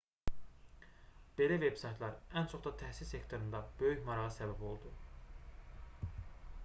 belə veb-saytlar ən çox da təhsil sektorunda böyük marağa səbəb oldu